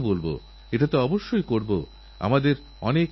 ভারত নানা সমস্যার সঙ্গে লড়াই করছে